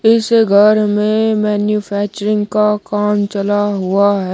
इस घर में मैन्यूफैक्चरिंग का काम चला हुआ है।